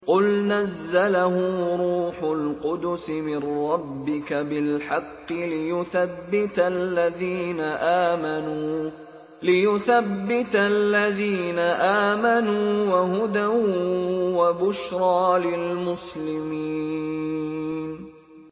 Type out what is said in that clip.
قُلْ نَزَّلَهُ رُوحُ الْقُدُسِ مِن رَّبِّكَ بِالْحَقِّ لِيُثَبِّتَ الَّذِينَ آمَنُوا وَهُدًى وَبُشْرَىٰ لِلْمُسْلِمِينَ